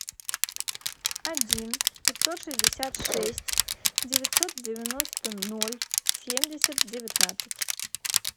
один пятьсот шестьдесят шесть девятьсот девяносто ноль семьдесят девятнадцать